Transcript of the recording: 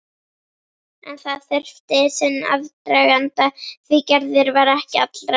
En það þurfti sinn aðdraganda því Gerður var ekki allra.